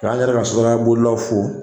K'an yɛrɛ ka sotarama bolilaw fo